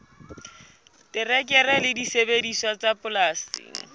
terekere le disebediswa tsa polasing